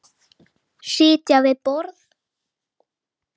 Sitja við borð